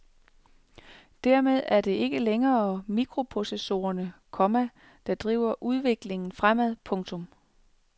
Dermed er det ikke længere mikroprocessorerne, komma der driver udviklingen fremad. punktum